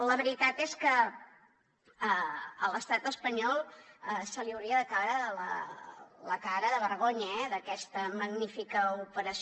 la veritat és que a l’estat espanyol li hauria de caure la cara de vergonya eh d’aquesta magnífica operació